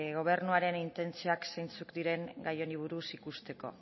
gobernuaren intentzioak zeintzuk diren gai honi buruz ikusteko